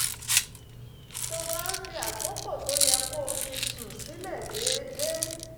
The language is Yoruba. tó bá ń fi àkókò tó yẹ kó fi sùn sílẹ̀ déédéé